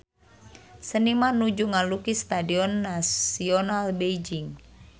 Seniman nuju ngalukis Stadion Nasional Beijing